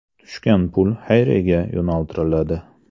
Tushgan pul xayriyaga yo‘naltiriladi.